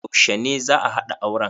Yaushe ne za'a haɗa auren?